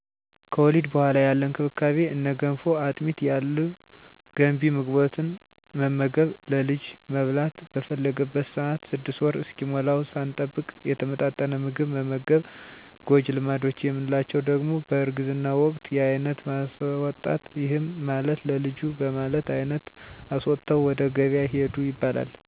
ከወሊድ በኋላ ያለ እንክብካቤ እነ ገንፎ፣ አጥሚት ያሉ ገንቢ ምግቦትን መመገብ፣ ለልጁ መብላት በፈለገበት ሰአት 6 ወር እስኪሞላዉ ሳንጠብቅ የተመጣጠነ ምግብ መመገብ። ጎጂ ልማዶች የምንላቸዉ ደሞ በእርግዝና ወቅት የአይነት ማስወጣት ይህም ማለት ለልጁ በማለት አይነት አስወጥተዉ ወደ ገበያ ሂዱ ይባላል። ከዛ ወደ ሌላ ሰዉ ይተላለፋል፣ ድድ ማስቧጠጥ፣ የሴት ልጅ ግርዛት፣ እንጥል ማስቆረጥ፣ ከቤት ዉስጥ መዉለድ ብዙ ደም ሊፈስ ስለሚችል ሞት ያመጣል እና እነዚህ ሁሉ ጎጂ ባህል ናቸዉ።